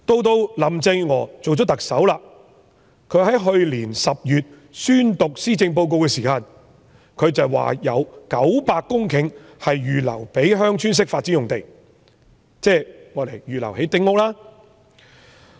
到林鄭月娥出任特首，去年10月宣讀施政報告時，她說有900公頃是預留作鄉村式發展，即預留作興建丁屋的用地。